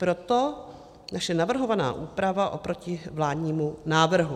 Proto naše navrhovaná úprava oproti vládnímu návrhu.